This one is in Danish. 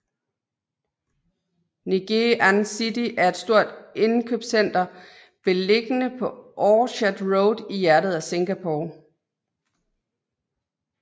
Ngee Ann City er et stort indkøbscenter beliggende på Orchard Road i hjertet af Singapore